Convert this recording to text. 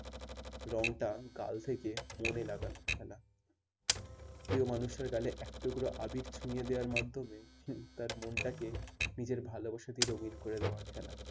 রঙটা গাল থেকে মনে লাগানোর খেলা প্রিয় মানুষের গালে এক টুকরা আবির ছুয়ে দেওয়ার মাধ্যমে তার মনটাকে নিজের ভালোবাসা দিয়ে রঙিন করে দেওয়ার খেলা।